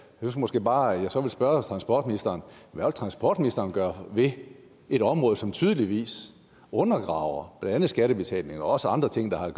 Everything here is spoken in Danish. synes måske bare at jeg så vil spørge transportministeren hvad transportministeren vil gøre ved et område som tydeligvis undergraver blandt andet skattebetalingen og også andre ting der har